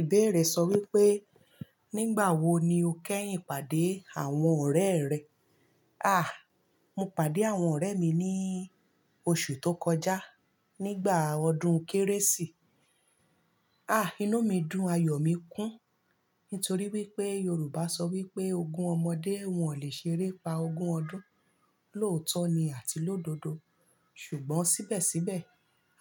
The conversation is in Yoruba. Ìbéèrè sọ wípé, nígbà wo ni o kẹ́yìn pàdé àwọn ọ̀rẹ́ rẹ? Àh! Mo pàdé àwọn ọ̀rẹ́ mi ní oṣù tó kọjá, nígbà ọdún Kérésì. Àh! Inú mi dùn, ayọ̀ mi kún. Nítorí wípé Yorùbá sọ wípé ogún ọmọdé, wọn ò lè ṣeré pa ogún ọdún. Lóòótọ́ ni àti lọ́dodo. Ṣùgbọ́n síbẹ̀síbẹ̀,